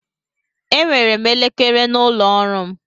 Enwere m elekere n'ụlọ ọrụ m.